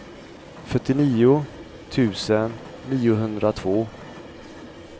fyrtionio tusen niohundratvå